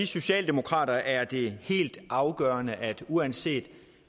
socialdemokrater er det helt afgørende at uanset